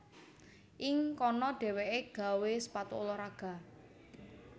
Ing kono dhéwéké gawé sepatu ulah raga